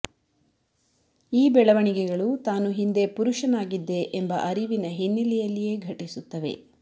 ಈ ಬೆಳವಣಿಗೆಗಳು ತಾನು ಹಿಂದೆ ಪುರುಷನಾಗಿದ್ದೆ ಎಂಬ ಅರಿವಿನ ಹಿನ್ನೆಲೆಯಲ್ಲಿಯೇ ಘಟಿಸುತ್ತವೆ